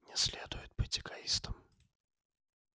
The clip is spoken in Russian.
не следует быть эгоистом